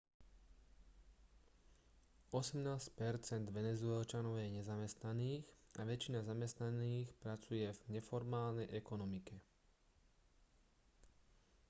osemnásť percent venezuelčanov je nezamestnaných a väčšina zamestnaných pracuje v neformálnej ekonomike